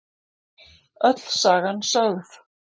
Öll sagan sögð